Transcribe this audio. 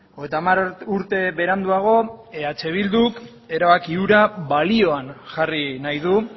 hogeita hamar urte beranduago eh bilduk erabaki hura balioan jarri nahi du